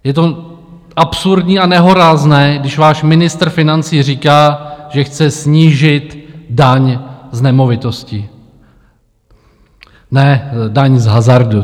Je to absurdní a nehorázné, když váš ministr financí říká, že chce snížit daň z nemovitostí... ne, daň z hazardu.